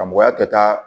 Karamɔgɔya kɛta